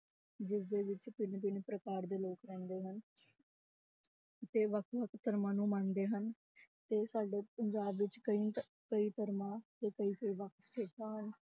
ਜਿਸਦੇ ਵਿੱਚ ਭਿੰਨ ਭਿੰਨ ਪ੍ਰਕਾਰ ਦੇ ਲੋਕ ਰਹਿੰਦੇ ਹਨ ਤੇ ਵੱਖ ਵੱਖ ਧਰਮਾਂ ਨੂੰ ਮੰਨਦੇ ਹਨ ਤੇ ਸਾਡੇ ਪੰਜਾਬ ਵਿੱਚ ਕਈ ਧ~ ਕਈ ਧਰਮਾਂ ਤੇ ਕਈ